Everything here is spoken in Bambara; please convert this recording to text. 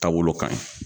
Taa wolo kaɲi